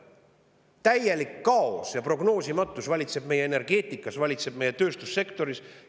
Täielik kaos ja prognoosimatus valitseb meie energeetika, tööstussektoris!